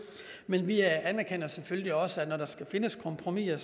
men vi anerkender selvfølgelig også at når der skal findes kompromiser